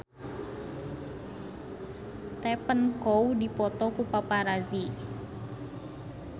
Stephen Chow dipoto ku paparazi